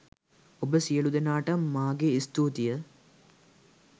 ඔබ සියලු දෙනාටම මාගේ ස්තුතිය!